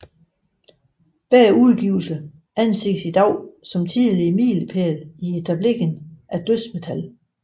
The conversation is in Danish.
Begge udgivelser anses i dag som tidlige miliepæle i etableringen af dødsmetal